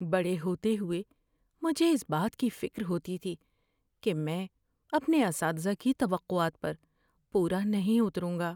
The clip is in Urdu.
بڑے ہوتے ہوئے، مجھے اس بات کی فکر ہوتی تھی کہ میں اپنے اساتذہ کی توقعات پر پورا نہیں اتروں گا۔